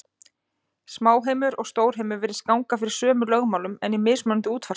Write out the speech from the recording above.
Smáheimur og stórheimur virðist ganga fyrir sömu lögmálum, en í mismunandi útfærslum.